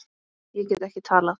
Ég get ekki talað.